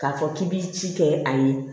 K'a fɔ k'i bi ci kɛ a ye